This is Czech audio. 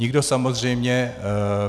Nikdo samozřejmě...